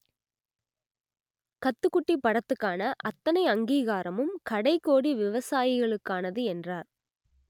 கத்துக்குட்டி படத்துக்கான அத்தனை அங்கீகாரமும் கடைக்கோடி விவசாயிகளுக்கானது என்றார்